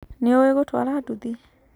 Nĩ ũĩ gũtwara nduthi.